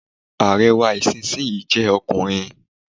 Ààrẹ wa ìsinsìnyí jẹ́ ọkùnrin.